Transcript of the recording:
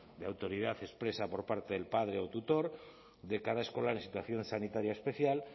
de autoridad expresa por parte del padre o tutor de cada escolar en situación sanitaria especial